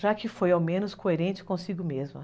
já que foi ao menos coerente consigo mesma.